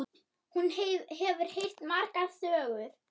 Hún hefur heyrt margar sögur.